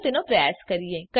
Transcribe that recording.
ચાલો તેનો પ્રયાસ કરીએ